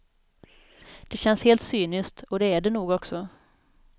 Det känns helt cyniskt och det är det nog också.